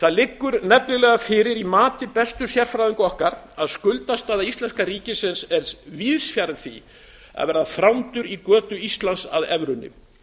það liggur nefnilega fyrir í mati bestu sérfræðinga okkar að skuldastaða íslenska ríkisins er víðs fjarri því að verða þrándur í götu íslands að evrunni